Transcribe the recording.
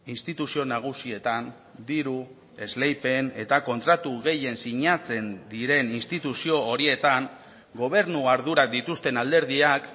instituzio nagusietan diru esleipen eta kontratu gehien sinatzen diren instituzio horietan gobernu ardurak dituzten alderdiak